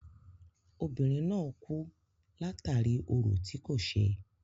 Obìnrin náà kú látàri orò tí kò ṣe.